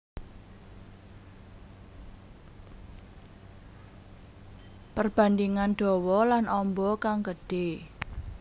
Perbandingan dawa lan amba kang gedhé